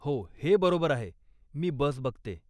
हो, हे बरोबर आहे, मी बस बघते.